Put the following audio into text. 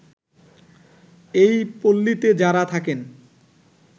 এই পল্লীতে যারা থাকেন